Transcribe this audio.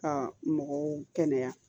Ka mɔgɔw kɛnɛya